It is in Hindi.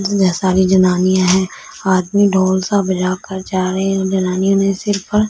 सारी जनानियां हैं आदमी ढोल सा बजा कर जा रहे हैं जनानियों ने सिर पर--